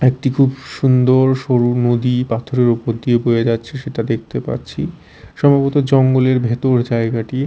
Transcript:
একটি খুব সুন্দর সরু নদী পাথরের ওপর দিয়ে বয়ে যাচ্ছে সেটা দেখতে পাচ্ছি সম্ভবত জঙ্গলের ভেতর জায়গাটি।